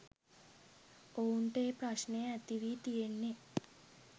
ඔවුන්ට ඒ ප්‍රශ්නය ඇතිවී තියෙන්නේ